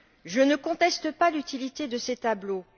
Je ne conteste pas l'utilité de ces tableaux.